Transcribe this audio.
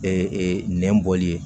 Ee nɛn bɔli ye